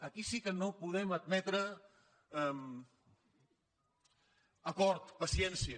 aquí sí que no podem admetre acord paciència